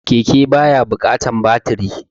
Keke ba ya buƙatan baturi